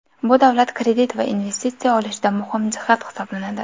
Bu davlat kredit va investitsiya olishida muhim jihat hisoblanadi.